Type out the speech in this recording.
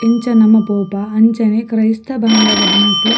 ಎಂಚ ನಮ ಪೋಪ ಅಂಚನೆ ಕ್ರೈಸ್ತ್ರ ಬಾಂದವೆರೆನಕ್ಲ್ --